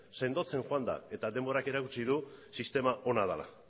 sendotzen joan da eta denbora erakutsi du sistema hona dela